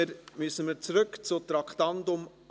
Nun kehren wir zum Traktandum 28 zurück.